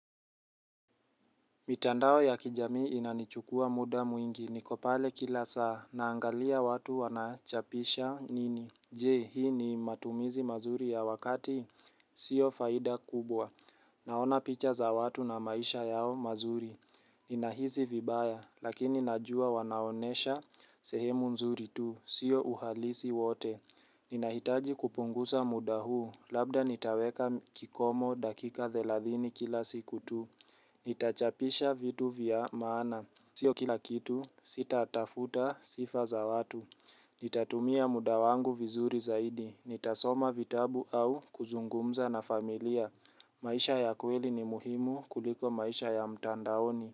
Mitandao ya kijamii inanichukua muda mwingi. Niko pale kila saa. Naangalia watu wanachapisha nini. Je, hii ni matumizi mazuri ya wakati? Sio faida kubwa. Naona picha za watu na maisha yao mazuri. Ninahisi vibaya, lakini najua wanaonyesha sehemu nzuri tu. Sio uhalisi wote. Ninahitaji kupunguza muda huu. Labda nitaweka kikomo dakika thelathini kila siku tu. Nitachapisha vitu vya maana Sio kila kitu sitatafuta sifa za watu Nitatumia muda wangu vizuri zaidi Nitasoma vitabu au kuzungumza na familia maisha ya kweli ni muhimu kuliko maisha ya mtandaoni.